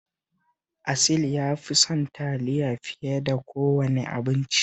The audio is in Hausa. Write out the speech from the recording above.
Asil ya fi son taliya fiye da kowane abinci